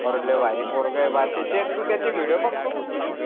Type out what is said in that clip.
अरे लय भारी पोरगा आहे बा ते त्याच्यात तू त्याचे video बघतो का तू